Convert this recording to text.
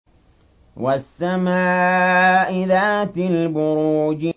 وَالسَّمَاءِ ذَاتِ الْبُرُوجِ